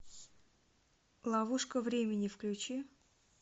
ловушка времени включи